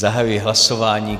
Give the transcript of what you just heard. Zahajuji hlasování.